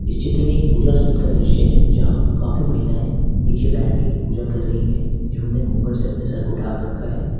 इस चित्र में पूजा स्थल का दृश्य है जहां काफी महिलाएं नीचे बैठकर पूजा कर रही है जिन्होंने घुंघट से अपने सर को डाक रखा है।